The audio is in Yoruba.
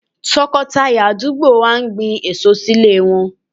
Tọkọtaya àdúgbò wa gbin èso sílé wọn.